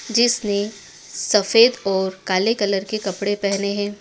जिसने सफेद और काले कलर के कपड़े पहने हैं।